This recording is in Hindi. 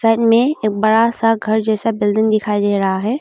साइड में एक बड़ा सा घर जैसा बिल्डिंग दिखाई दे रहा है।